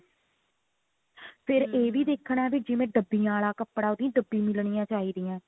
ਫਿਰ ਇਹ ਵੀ ਦੇਖਣਾ ਕਿ ਜਿਵੇਂ ਡੱਬਿਆ ਆਲਾ ਕੱਪੜਾ ਉਹਦੀ ਡੱਬਿਆਂ ਹਿਲਨੀ ਚਾਹੀਦੀ ਆ